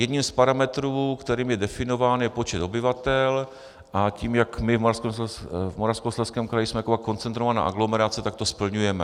Jedním z parametrů, kterým je definován, je počet obyvatel, a tím, jak my v Moravskoslezském kraji jsme taková koncentrovaná aglomerace, tak to splňujeme.